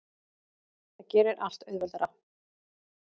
Það gerir allt auðveldara.